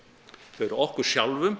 þau eru okkur sjálfum